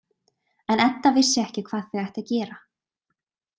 En Edda vissi ekki hvað þau ættu að gera.